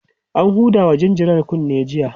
an Huda wa jinjirar kunne jiya